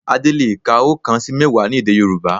Adé le è ka oókan sí mẹ́wàá ní èdè Yorùbá